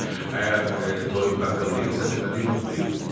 Əgər toyuq qaqqıldayırsa, deməli yumurtlayıb.